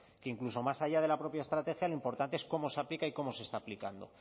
que incluso más allá de la propia estrategia lo importante es cómo se aplica y cómo se está aplicando